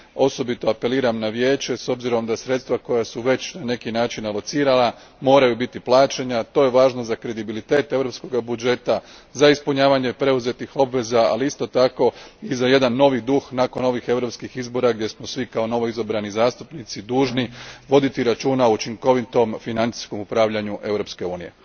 Osobito apeliram na Vijeće s obzirom da sredstva koja su već na neki način alocirana moraju biti plaćena to je važno za kredibilitet europskog budžeta, za ispunjavanje preuzetih obveza, ali isto tako i za novi duh nakon ovih europskih izbora gdje smo svi kao novoizabrani zastupnici dužni voditi računa o učinkovitom financijskom upravljanju Europske unije.